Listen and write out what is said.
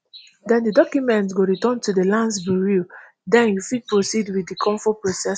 den di document go return to di lands bureau den you fit proceed wit di cofo processing